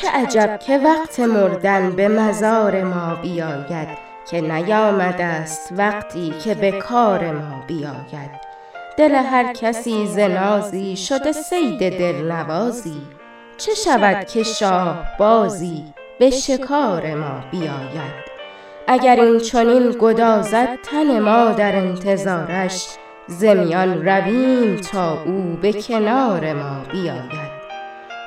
چه عجب که وقت مردن به مزار ما بیاید که نیامدست وقتی که به کار ما بیاید دل هر کسی ز نازی شده صید دلنوازی چه شود که شاهبازی به شکار ما بیاید اگر اینچنین گدازد تن ما در انتظارش ز میان رویم تا او به کنار ما بیاید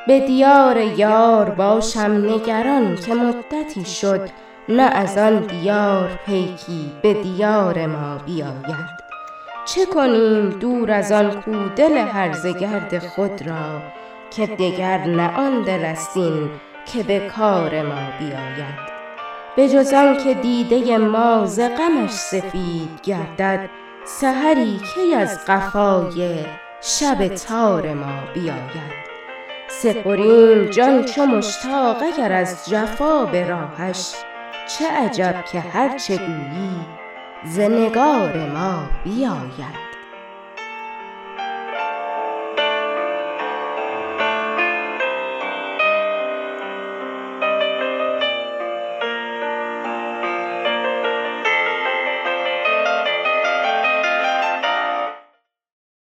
به دیار یار باشم نگران که مدتی شد نه از آن دیار پیکی به دیار ما بیاید چه کنیم دور از آن کو دل هرزه گرد خود را که دگر نه آن دل است این که به کار ما بیاید به جز آنکه دیده ما ز غمش سفید گردد سحری کی از قفای شب تار ما بیاید سپریم جان چو مشتاق اگر از جفا به راهش چه عجب که هرچه گویی ز نگار ما بیاید